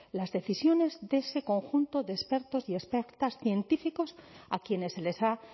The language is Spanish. las decisiones de ese conjunto de expertos y expertas científicos a quienes se les ha